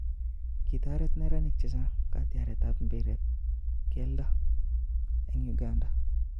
Kitoret neranik chechang katyaret ap mpiretap keldo en Uganda